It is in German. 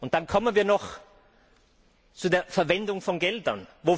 Dann kommen wir noch zu der Verwendung von Geldern.